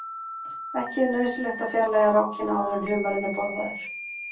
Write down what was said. Ekki er nauðsynlegt að fjarlægja rákina áður en humarinn er borðaður.